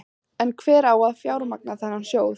En hver á að fjármagna þennan sjóð?